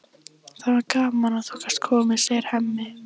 Það var gaman að þú gast komið, segir Hemmi.